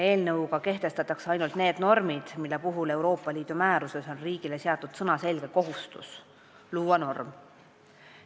Eelnõu kohaselt kehtestatakse ainult need normid, mille puhul Euroopa Liidu määruses on riigile seatud sõnaselge kohustus norm üle võtta.